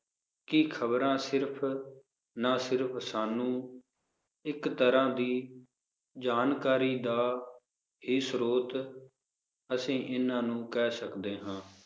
ਕਿ ਖਬਰਾਂ ਸਿਰਫ ਨਾ ਸਿਰਫ ਸਾਨੂੰ ਇਕ ਤਰਾਹ ਦੀ ਜਾਣਕਾਰੀ ਦਾ ਇਹ ਸਰੋਥ ਅੱਸੀ ਇਹਨਾਂ ਨੂੰ ਕਹਿ ਸਕਦੇ ਹਾਂ